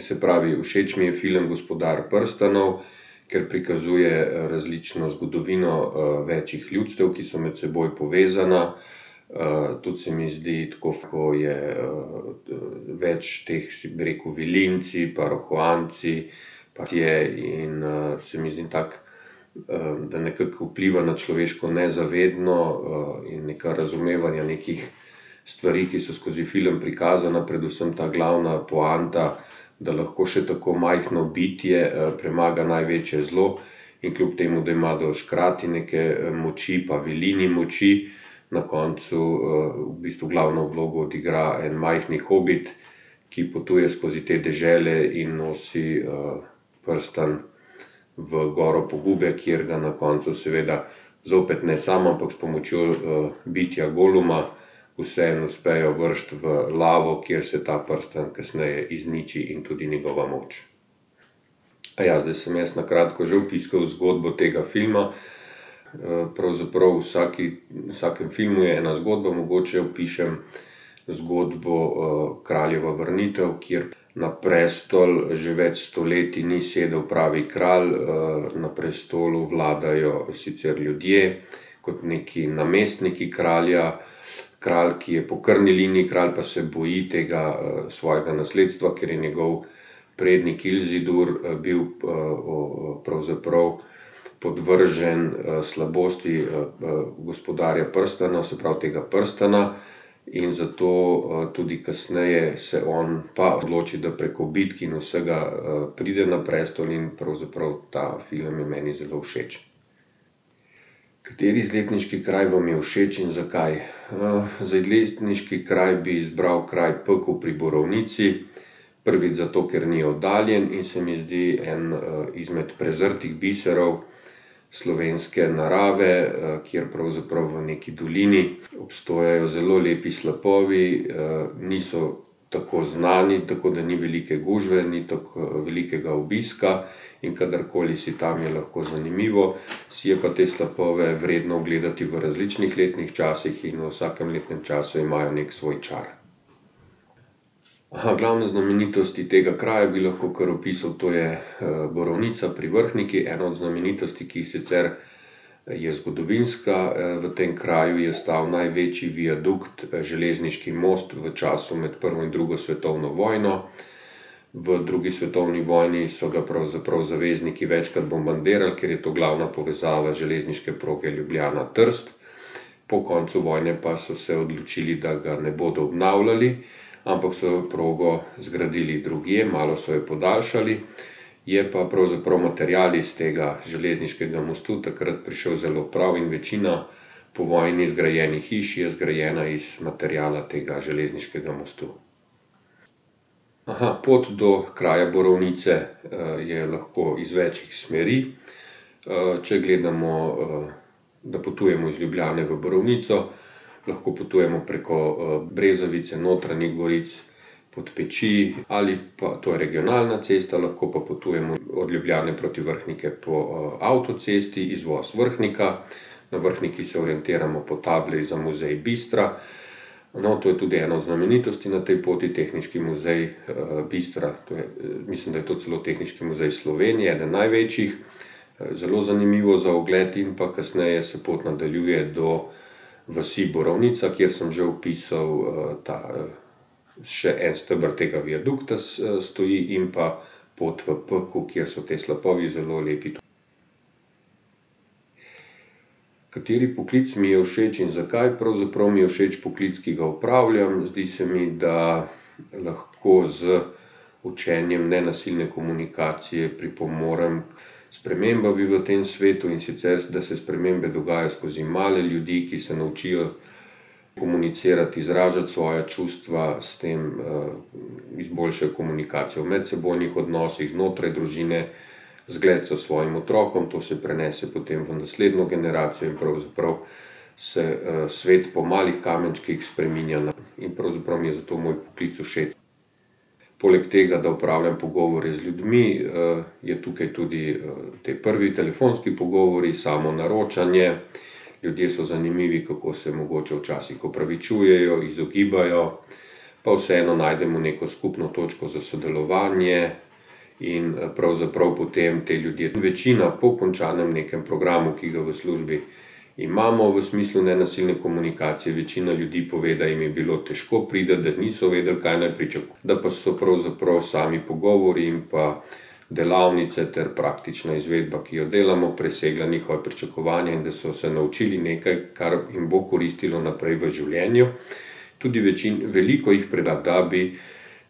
Se pravi, všeč mi je film Gospodar prstanov, ker prikazuje, različno zgodovino, večih ljudstev, ki so med seboj povezana. tudi se mi zdi, tako ko je, več teh, bi rekel, Vilinci pa Rohoanci, pa je in se mi zdi tako, da nekako vpliva na človeško nezavedno in, neka razumevanja nekih stvari, ki so skozi film prikazana, predvsem ta glavna poanta, da lahko še tako majhno bitje, premaga največje zlo. In kljub temu, da imajo škratje neke moči pa Vilini moči, na koncu, v bistvu glavno vlogo odigra en majhni Hobit, ki potuje skozi te dežele in nosi, prstan v Goro pogube, kjer ga na koncu seveda zopet ne sam, ampak s pomočjo, bitja Goluma, vseeno uspejo vreči v lavo, kjer se ta prstan kasneje izniči in tudi njegova moč. Aja, zdaj sem jaz na kratko že opisal zgodbo tega filma, pravzaprav v vsaki, v vsakem filmu je ena zgodba, mogoče opišem zgodbo, Kraljeva vrnitev, kjer na prestol že več sto leti ni sedel pravi kralj, na prestolu vladajo sicer ljudje kot nekaj namestniki kralja, kralj, ki je po krvni liniji kralj, pa se boji tega, svojega nasledstva, ker je njegov prednik Ilzidur, bil, pravzaprav podvržen, slabosti, gospodarja prstana, se pravi tega prstana. In zato, tudi kasneje se on pa odloči, da preko bitk in vsega, pride na prestol in pravzaprav ta film je meni zelo všeč. Kateri izletniški kraj vam je všeč in zakaj? za izletniški kraj bi izbral kraj Pekel pri Borovnici. Prvič zato, ker ni oddaljen in se mi zdi en, izmed prezrtih biserov slovenske narave, kjer pravzaprav v neki dolini obstajajo zelo lepi slapovi, niso tako znani, tako da ni velike gužve, ni tako velikega obiska. In kadarkoli si tam, je lahko zanimivo. Si je pa te slapove vredno ogledati v različnih letnih časih in v vsakem letnem času imajo neki svoj čar. glavne znamenitosti tega kraja bi lahko kar opisal, to je, Borovnica pri Vrhniki, ena od znamenitosti, ki jih sicer je zgodovinska, v tem kraju, je ostal največji viadukt, železniški most v času med prvo in drugo svetovno vojno. V drugi svetovni vojni so ga pravzaprav zavezniki večkrat bombardirali, ker je to glavna povezava železniške proge Ljubljana-Trst. Po koncu vojne pa so se odločili, da ga ne bodo obnavljali, ampak so progo zgradili drugje, malo so jo podaljšali. Je pa pravzaprav material iz tega železniškega mostu takrat prišel zelo prav in večina po vojni zgrajenih hiš je zgrajena iz materiala tega železniškega mostu. pot do kraja Borovnice, je lahko iz več smeri, če gledamo, da potujemo iz Ljubljane v Borovnico lahko potujemo preko, Brezovice, Notranjih Goric, Podpeči ali pa, to je regionalna cesta, lahko pa potujemo od Ljubljane proti Vrhniki po, avtocesti, izvoz Vrhnika. Na Vrhniki se orientiramo po tabli za muzej Bistra. No, to je tudi ena od znamenitosti na tej poti, Tehniški muzej, Bistra, to je, mislim, da je to celo Tehniški muzej Slovenije, eden največjih. zelo zanimivo za ogled in pa kasneje se pot nadaljuje do vasi Borovnica, kjer sem že opisal, ta še en steber tega viadukta stoji in pa pot v Pekel, kjer so te slapovi zelo lepi ... Kateri poklic mi je všeč in zakaj? Pravzaprav mi je všeč poklic, ki ga upravljam, zdi se mi, da lahko z učenjem nenasilne komunikacije pripomorem k spremembam v tem svetu, in sicer, da se spremembe dogajajo skozi male ljudi, ki se naučijo komunicirati, izražati svoja čustva, s tem, izboljša komunikacijo v medsebojnih odnosih znotraj družine, zgled so svojim otrokom, to se prenese potem v naslednjo generacijo pravzaprav se, svet po malih kamenčkih spreminja na ... in pravzaprav mi je zato moj poklic všeč. Poleg tega, da opravljam pogovore z ljudmi, je tukaj tudi, ti prvi telefonski pogovori, samo naročanje, ljudje so zanimivi, kako se mogoče včasih opravičujejo, izogibajo. Pa vseeno najdemo neko skupno točko za sodelovanje in, pravzaprav potem ti ljudje, večina po končanem nekem programu, ki ga v službi imamo, v smislu nenasilne komunikacije, večina ljudi pove, da jim je bilo težko priti, da niso vedeli, kaj naj da pa so pravzaprav sami pogovori in pa delavnice ter praktična izvedba, ki jo delamo, presegli njihova pričakovanja in da so se naučili nekaj, kar jim bo koristilo naprej v življenju tudi veliko jih